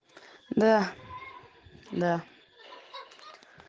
да да